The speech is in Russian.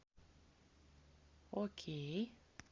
окей